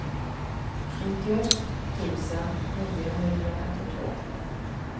nittioett tusen niohundrafemtiotvå